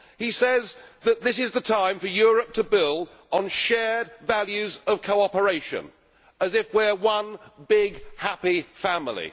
He says that this is the time for Europe to build on shared values of cooperation, as if we are one big, happy family.